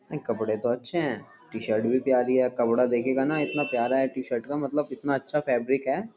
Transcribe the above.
नहीं कपड़े तो अच्छे है टी-शर्ट भी प्यारी है कपड़ा देखेगा ना इतना प्यारा है टी शर्ट का मतलब इतना अच्छा फेवरिक है।